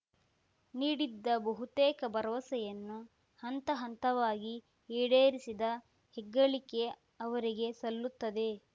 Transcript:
ನೀಡಿದ್ದ ಬಹುತೇಕ ಭರವಸೆಯನ್ನು ಹಂತಹಂತವಾಗಿ ಈಡೇರಿಸಿದ ಹೆಗ್ಗಳಿಕೆ ಅವರಿಗೆ ಸಲ್ಲುತ್ತದೆ